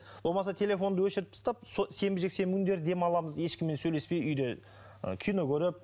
болмаса телефонды өшіріп тастап сенбі жексенбі күндері демаламыз ешкіммен сөйлеспей үйде ы кино көріп